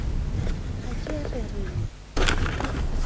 ha ke re re le